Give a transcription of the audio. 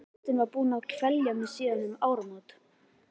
Óttinn var búinn að kvelja mig síðan um áramót.